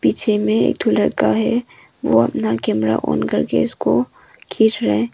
पीछे में एक लड़का है वह अपना कैमरा ऑन करके इसको खींच रहा है।